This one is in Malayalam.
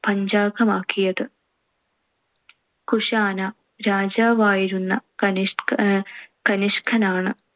പഞ്ചാംഗമാക്കിയത്. കുഷാന രാജാവായിരുന്ന കനിഷ്~ കനിഷ്കനാണ്‌